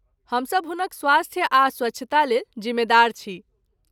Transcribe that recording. हमसभ हुनक स्वास्थ्य आ स्वच्छतालेल जिम्मेदार छी।